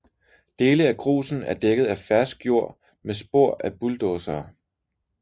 Dele af grusen er dækket af fersk jord med spor af bulldosere